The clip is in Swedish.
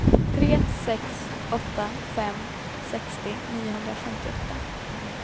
tre sex åtta fem sextio niohundrafemtioåtta